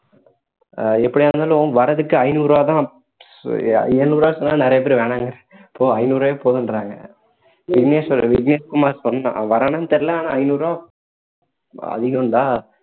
அஹ் எப்படியா இருந்தாலும் வர்றதுக்கு ஐந்நூறு ரூபாய் தான் எழுநூறு ரூபான்னு சொன்னா நிறைய பேரு வேணான்றாங்க ஐந்நூறு ரூபாவே போதுன்றாங்க விக்னேஷ் வேற விக்னேஷ்குமார் சொன்னான் அவன் வர்றானான்னு தெரியல ஆனா ஐந்நூறு ரூபாய் அதிகம் டா